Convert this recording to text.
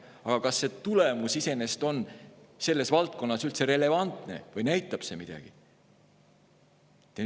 Aga kas see tulemus iseenesest on selles valdkonnas üldse relevantne või näitab see midagi?